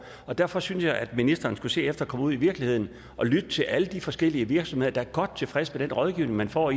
og derfor synes jeg at ministeren skulle se at komme ud i virkeligheden og lytte til alle de forskellige virksomheder der er godt tilfredse med den rådgivning man får